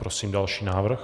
Prosím další návrh.